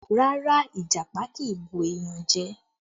No, Ìjàpá kì í bu èèyàn jẹ